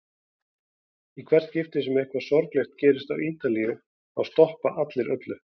Í hvert skipti sem eitthvað sorglegt gerist á Ítalíu þá stoppa allir öllu.